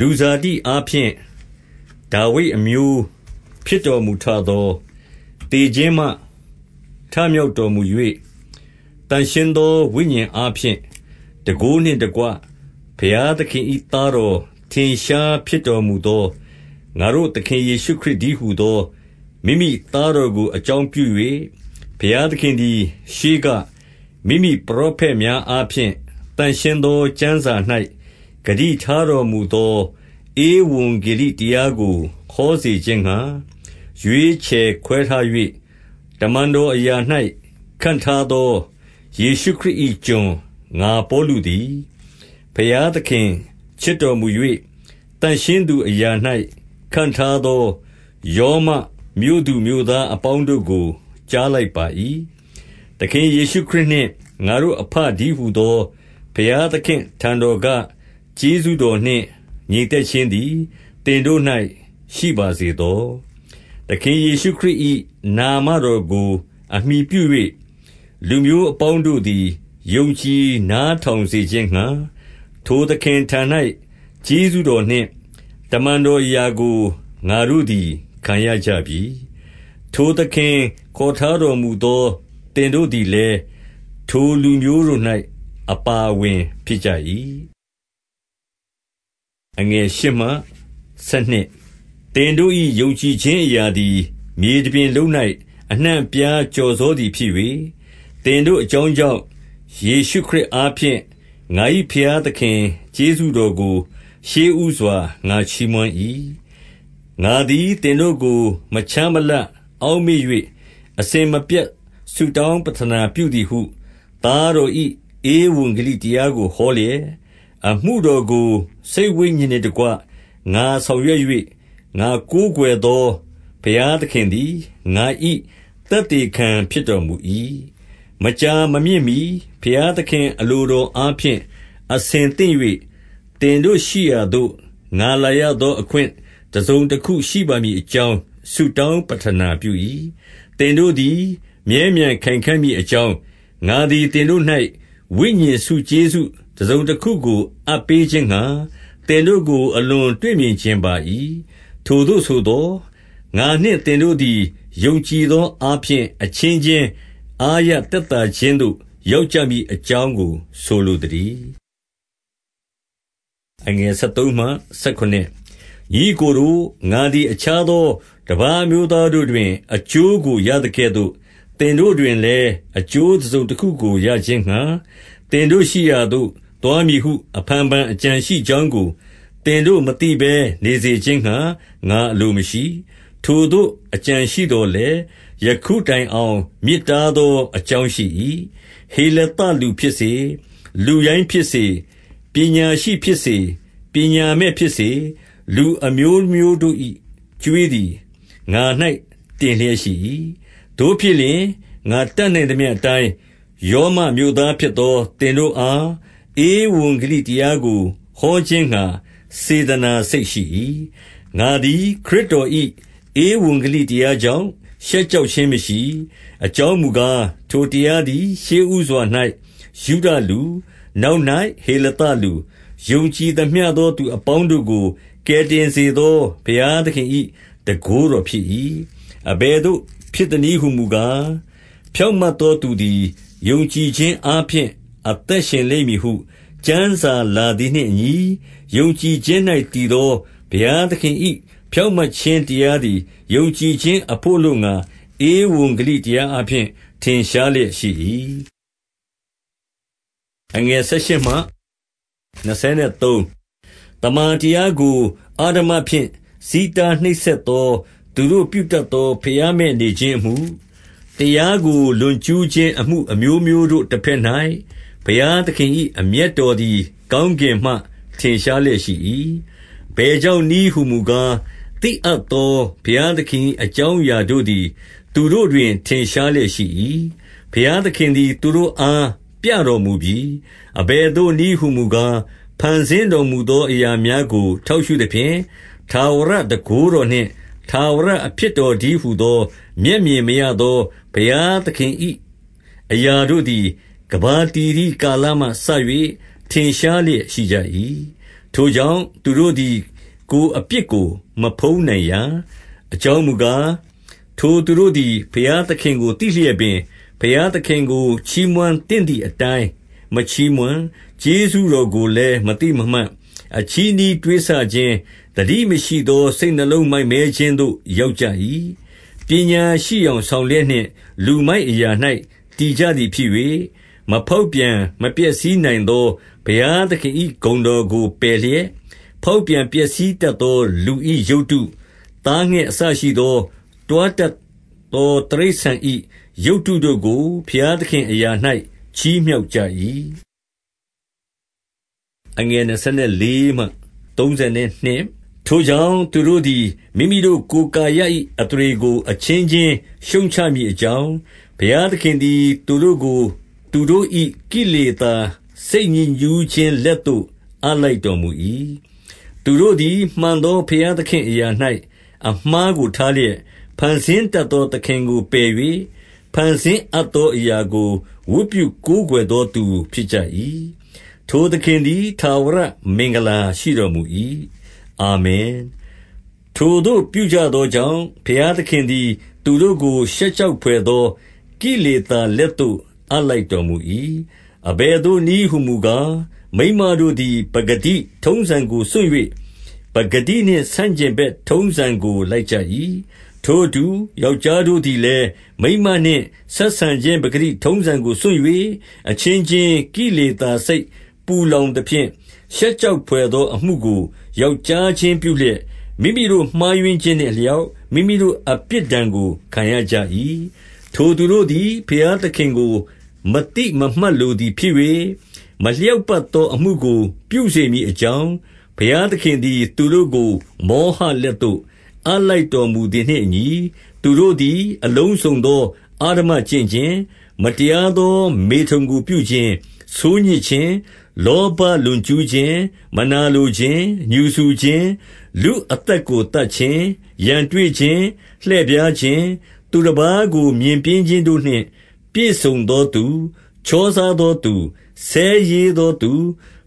လူဇာတိအားဖြင်း ဒါဝိဒ်အမျိုးဖြစ်တော်မူ ထသော၊ သေခြင်းမှထမြောက်တော်မူ၍၊ သန့်ရှင်းသောဝိညာဉ်အားဖြင့် ၊ တန်ခိုးနှင့်တကွ ဘုရားသခင်၏သားတော် ထင်ရှားဖြစ်တော်မူသော ငါတို့သခင်ယေရှုခရစ်တည်း ဟူသော မိမိသားတော်ကို အကြောင်းပြု၍ ဘုရားသခင် သည် ရှေးကမိမိပရောဖက်များအားဖြင့်၊ သန့်ရှင်းသော ကျမ်းစာ၌ ဂတိထားတော်မူသော ဧဝံဂေလိတရားကို ဟောစေခြင်းငှါ၊ ရွေးချယ်ခွဲထား၍ တမန်တော်အရာ၌ ခန့်ထားသော ယေရှုခရစ်၏ ကျွန်ငါပေါလုသည်၊ ဘုရားသခင်ချစ်တော်မူ၍၊ သန့်ရှင်းသူအရာ၌ ခန့်ထားသော ရောမ မြို့သူမြို့သားအပေါင်းတို့ကို ကြားလိုက်ပါ၏။ သခင်ယေရှုခရစ်နှင့်ငါတို့အဘတည်းဟူသော ဘုရားသခင့် အထံတော်ကကျေးဇူးတော်နှင့် ငြိမ်သက် ခြင်းသည် သင်တို့၌ ရှိပါစေသော။ သခင်ယေရှုခရစ်၏ နာမတော်ကို အမှီပြု၍ လူမျိုးအပေါင်းတို့သည် ယုံကြည် နားထောင်စေခြင်းငှါ။ ထိုသခင်ထံ၌ ကျေးဇူးတော်နှင့် တမန်တော်အရာကို ငါတို့သည် ခံရကြပြီ။ ထိုသခင်ခေါ် ထားတော် မူသောသင်တို့သည်လည်း ထိုလူမျိုးတို့၌ အပါ အဝင်ဖြစ်ကြ၏။ သင်တို့၏ယုံကြည်ခြင်းအရာသည် မြေတပြင်လုံး၌ အနှံ့အပြား ကျော်စောသည်ဖြစ်၍၊ သင်တို့ အကြောင်းကြောင့် ယေရှုခရစ်အားဖြင့်၊ ငါ၏ဘုရား သခင်ကျေးဇူးတော်ကို ရှေးဦးစွာ ငါချီးမွမ်း၏။ ငါသည်သင်တို့ကို မခြားမလပ်အောက်မေ့၍ အစဉ်မပြတ်ဆုတောင်းပဌနာပြုသည်ဟု သားတော်၏ ဧဝံဂေလိတရားကို ဟောလျက်၊ အမှုတော်ကို စိတ် ဝိညာဉ်နှင့်တကွ ငါဆောင်ရွက်၍ ငါကိုးကွယ်သော ဘုရားသခင်သည် ငါ၏အသက်သေခံဖြစ်တော်မူ၏။ မကြာမမြင့်မှီဘုရားသခင်အလိုတော်အားဖြင့် အဆင်သင့်၍၊ သင်တို့ရှိရာသို့ ငါလာရသော အခွင့် တစုံတခုရှိပါမည်အကြောင်း ဆုတောင်းပဌာနပြု၏။ သင်တို့သည် မြဲမြံခိုင်ခံ့မည့်အကြောင်း၊ ငါသည် သင်တို့၌ ဝိညာဉ်ဆုကျေးဇူးတစုံတခုကို အပ်ပေးခြင်းငှါ၊ သင်တို့ကိုအလွန်တွေ့မြင်ချင်ပါ၏။ ထိုသို့ဆိုသော်၊ ငါနှင့်သင်တို့သည် ယုံကြည်သော အားဖြင့် အချင်းချင်း အားရသက်သာခြင်းသို့ ရောက်ကြ မည်အကြောင်းကို ဆိုလိုသတည်း။ ညီအစ်ကိုတို့၊ ငါသည်အခြားသော တပါးအမျိုးသားတို့တွင် အကျိုးကိုရသကဲ့သို့ သင်တို့တွင်လည်း အကျိုးတစုံတခုကိုရခြင်းငှါ၊ သင်တို့ရှိရာသို့သွားမည်ဟု အဖန်ဖန်အကြံရှိကြောင်းကို သင်တို့မသိဘဲနေစေခြင်းငှါ ငါအလိုမရှိ၊ ထိုသို့အကြံရှိသော်လည်း၊ ယခုတိုင်အောင် မြစ်တားသော အကြောင်းရှိ၏။ ဟေလသလူဖြစ်စေ၊ လူရိုင်းဖြစ်စေ၊ ပညာရှိဖြစ်စေ၊ ပညာမဲ့ဖြစ်စေ၊ လူအမျိုးမျိုးတို့၏ကြွေးသည် ငါ၌တင်လျက်ရှိ၏။ သို့ဖြစ်လျှင်၊ ငါတတ်နိုင်သမျှအတိုင်း ရောမမြို့သားဖြစ်သော သင်တို့အား ဧဝံဂေလိတရားကို ဟောခြင်းငှါ စေတနာစိတ်ရှိ၏။ ငါသည်ခရစ်တော်၏ ဧဝံဂေလိတရားကြောင့်၊ ရှက်ကြောက်ခြင်းမရှိ။ အကြောင်းမူကား၊ ထိုတရားသည် ရှေ့ဦးစွာ၌ ယုဒလူ၊ နောက်၌ ဟေလသလူ၊ ယုံကြည်သမျှသောသူအပေါင်းတို့ကို ကယ်တင် စေသော ဘုရားသခင်၏တန်ခိုးတော်ဖြစ်၏။ အဘယ်သို့ဖြစ်သနည်းဟူမူကား၊ ဖြောင့်မတ် သောသူသည် ယုံကြည်ခြင်းအားဖြင့် အသက်ရှင်လိမ့်မည် ဟု ကျမ်းစာလာသည်နှင့်အညီ၊ ယုံကြည်ခြင်း၌ တည်သောဘုရားသခင်၏ ဖြောင့်မတ်ခြင်းတရားသည်၊ ယုံကြည်ခြင်းအဘို့အလိုငှါ ဧဝံဂေလိတရားအားဖြင့် ထင်ရှားလျက်ရှိ၏။ သမ္မာတရားကိုအဓမ္မဖြင့် ဆီးတားနှိပ်စက်သော သူတို့ ပြုတတ်သော ဘုရားမဲ့နေခြင်းအမှု၊ တရားကို လွန်ကျူးခြင်း အမှုအမျိုးမျိုးတို့ တဘက်၌ဘုရားသခင်၏ အမျက်တော်သည်ကောင်းကင်မှ ထင်ရှားလျက်ရှိ၏။ အဘယ်ကြောင့်နည်းဟူမူကား၊ သိအပ်သော ဘုရားသခင်၏ အကြောင်းအရာတို့သည် သူတို့တွင် ထင်ရှားလျက်ရှိ၏။ ဘုရားသခင်သည် သူတို့အား ပြတော်မူပြီ။ အဘယ်သို့နည်းဟူမူကား၊ ဖန်ဆင်းတော်မူသော အရာများကို ထောက်ရှုသဖြင့်၊ ထာဝရတန်ခိုးတော်နှင့် ထာဝရအဖြစ်တော်တည်းဟူသော မျက်မြင်မရသော ဘုရားသခင်၏ အရာတို့သည် ကမ္ဘာတည် သည်ကာလမှ စ၍ ထင်ရှားလျက်ရှိကြ၏။ ထိုကြောင့်သူတို့သည် ကိုယ်အပြစ်ကို မဖုံးနိုင်ရာ။ အကြောင်းမူကား၊ ထိုသူတို့သည် ဘုရားသခင်ကို သိလျက်ပင်၊ ဘုရားသခင်ကိုချီးမွမ်းသင့်သည် အတိုင်း မချီးမွမ်းကျေးဇူးတော်ကိုလည်း မသိမမှတ်၊ အချည်းနှီး တွေးဆခြင်း၊ သတိမရှိသောစိတ်နှလုံးကို မိုက်မဲခြင်းသို့ ရောက်ကြ၏။ ပညာရှိယောင်ဆောင်လျက်နှင့် လူမိုက်အရာ၌ တည်ကြသည် ဖြစ်၍၊ မဖေါက်ပြန်မပျက်စီးနိုင်သော ဘုရားသခင်၏ ဂုဏ်တော်ကိုပယ်လျက်၊ ဖေါက်ပြန်ပျက်စီးတတ်သော လူ၏ ရုပ်တု၊ သားငှက်အစရှိသော တွားတတ်သော တိရစ္ဆာန်၏ရုပ်တုကို ဘုရားသခင်အရာ၌ ချီးမြှောက် ကြ၏။ ထိုကြောင့်သူတို့သည် မိမိတို့ကိုယ်ကာယ၏ အသရေကို အချင်းချင်းရှုတ်ချမည်အကြောင်း၊ ဘုရား သခင်သည် သူတို့ကိုသူတို့၏ ကိလေသာစိတ်ညစ်ညူးခြင်း လက်သို့ အပ်လိုက်တော်မူ၏။ သူတို့သည် မှန်သောဘုရားသခင့်အရာ၌ အမှားကိုထားလျက်၊ ဖန်ဆင်းတတ်သော သခင်ကိုပယ်၍ ဖန်ဆင်းအပ်သောအရာကို ဝတ်ပြုကိုးကွယ်သောသူ ဖြစ်ကြ၏။ ထိုသခင်သည် ထာဝရမင်္ဂလာ ရှိတော်မူ၏။ အာမင်။ ထိုသို့ပြုကြသောကြောင့် ဘုရားသခင်သည် သူတို့ကို ရှက်ကြောက်ဘွယ်သော ကိလေသာလက်သို့ အပ်လိုက်တော်မူ၏။ အဘယ်သို့နည်းဟူမူကား၊ မိန်းမတို့သည် ပကတိထုံးစံကိုစွန့်၍၊ ပကတိနှင့် ဆန့်ကျင်ဘက် ထုံးစံကို လိုက်ကြ၏။ ထိုအတူ၊ ယောက်ျားတို့သည်လည်း မိန်းမနှင့် ဆက်ဆံခြင်း ပကတိထုံးစံကိုစွန့်၍ အချင်းချင်းကိလေ သာစိတ်ပူလောင်သဖြင့်၊ ရှက်ကြောက်ဘွယ်သောအမှုကို ယောက်ျားချင်းပြုလျက်၊ မိမိတို့ မှားယွင်းခြင်းနှင့် အလျောက် မိမိတို့အပြစ်ဒဏ်ကို ခံရကြ၏။ ထိုသူတို့သည် ဘုရားသခင်ကို မသိမမှတ်လိုသည်ဖြစ်၍၊ မလျောက်ပတ်သော အမှုကို ပြုစေမည် အကြောင်း၊ ဘုရားသခင်သည် သူတို့ကို မောဟလက်သို့ အပ်လိုက်တော်မူသည်နှင့်အညီ၊ သူတို့သည်အလုံးစုံသော အဓမ္မကျင့်ခြင်း၊ မတရားသော မေထုန်ကိုပြုခြင်း၊ ဆိုးညစ်ခြင်း၊ လောဘ လွန်ကျူးခြင်း၊ မနာလိုခြင်း၊ ငြူစူခြင်း၊ လူအသက်ကို သတ်ခြင်း၊ ရန်တွေ့ခြင်း၊ လှည့်ဖြားခြင်း၊ သူတပါးကို မြင်ပျင်းခြင်းတို့နှင့်ပြည့်စုံသောသူ၊ ချောစားသောသူ၊ ဆဲရေးသောသူ၊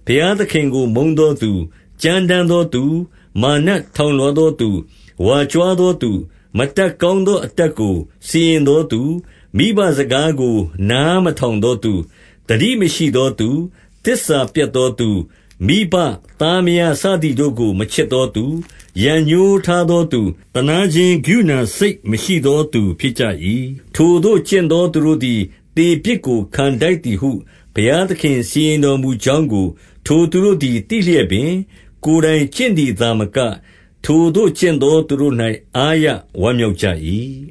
ဘုရားသခင်ကိုမုန်းသောသူ၊ ကြမ်းတမ်းသောသူ၊ မာနထောင်လွှားသောသူ၊ ဝါကြွား သောသူ၊ မတတ်ကောင်းသော အတတ်ကိုစီရင်သောသူ၊ မိဘစကားကို နားမထောင်သောသူ၊ သတိမရှိသောသူ၊ သစ္စာပျက်သောသူ၊ မိဘသားမယားစသည်တို့ကို မချစ်သောသူ၊ ရန်ငြိုးထားသောသူ၊ သနားခြင်း ကရုဏာစိတ်မရှိသော သူဖြစ်ကြ၏။ ထိုသို့ ကျင့်သောသူတို့သည် သေပြစ်ကိုခံထိုက်သည်ဟု ဘုရားသခင်စီရင်တော်မူကြောင်းကို ထိုသူတို့ သည် သိလျက်ပင် ကိုယ်တိုင်ကျင့်သည်သာမက၊ ထိုသို့ ကျင့်သောသူတို့၌ အားရဝမ်းမြောက်ကြ၏